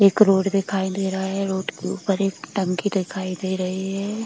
एक रोड दिखाई दे रहा है रोड के ऊपर एक टंकी दिखाई दे रही है।